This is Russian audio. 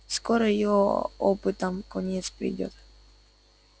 скоро его опытам конец придёт